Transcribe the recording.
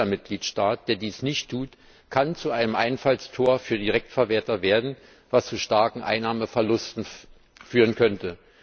Jeder Mitgliedstaat, der dies nicht tut, kann zu einem Einfallstor für Direktverwerter werden, was zu starken Einnahmeverlusten führen könnte.